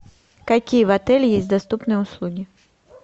какие в отеле есть доступные услуги